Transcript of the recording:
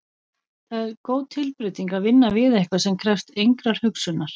Það er góð tilbreyting að vinna við eitthvað sem krefst engrar hugsunar.